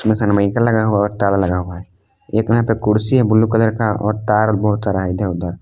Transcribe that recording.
सनमाइका लगा हुआ है और ताला लगा हुआ है एक यहां पे कुर्सी है ब्लू कलर का और तार बहुत सारा है इधर उधर।